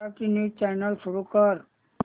Marathi news channel सुरू कर